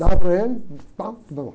Dava para ele, pá.